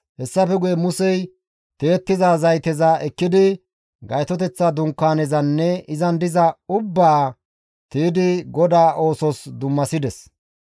Hessafe guye Musey tiyettiza zayteza ekkidi Gaytoteththa Dunkaanezanne izan diza ubbaa tiydi GODAA oosos dummasides.